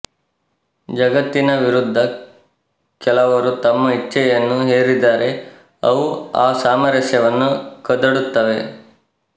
ಜಗತ್ತಿನ ವಿರುದ್ಧ ಕೆಲವರು ತಮ್ಮ ಇಚ್ಛೆಯನ್ನು ಹೇರಿದರೆ ಅವು ಆ ಸಾಮರಸ್ಯವನ್ನು ಕದಡುತ್ತವೆ